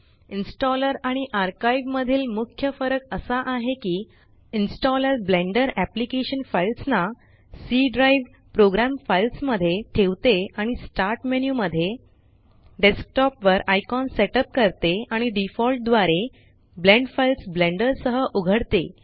installer आणि archive मधील मुख्य फरक असा आहे की इन्स्टॉलर बलेंडर अप्लिकेशन फाइल्स ना सी ड्राइव प्रोग्राम फाइल्स मध्ये ठेवते आणि स्टार्ट मेन्यू मध्ये डेस्कटॉप वर आयकॉन सेट अप करते आणि डिफॉल्ट द्वारे blend फाइल्स ब्लेंडर सह उघडते